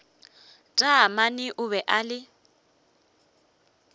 taamane o be a le